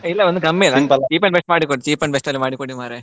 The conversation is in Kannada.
ಇಲ್ಲ ಒಂದು ಕಮ್ಮಿ cheap and best ಮಾಡಿಕೊಡಿ cheap and best ಅಲ್ಲಿ ಮಾಡಿ ಕೊಡಿ ಮಾರೆ.